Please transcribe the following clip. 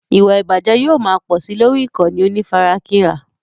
Ìwà ìbàjẹ́ yóò máa pò sí lórí ìkànnì onífarakínra.